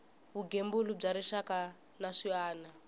vugembuli bya rixaka na swiana